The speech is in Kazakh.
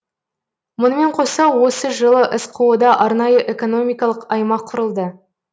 мұнымен қоса осы жылы сқо да арнайы экономикалық аймақ құрылды